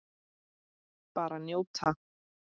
Bara njóta.